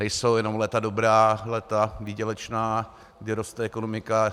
Nejsou jenom léta dobrá, léta výdělečná, kdy roste ekonomika.